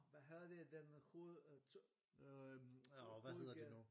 Hvad hedder det den hoved øh hovegade